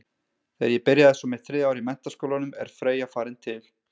Þegar ég byrja svo mitt þriðja ár í menntaskólanum er Freyja farin til